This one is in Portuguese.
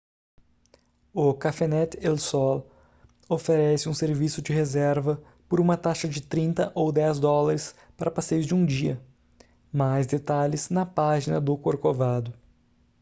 o cafenet el sol oferece um serviço de reserva por uma taxa de 30 ou 10 dólares para passeios de um dia mais detalhes na página do corcovado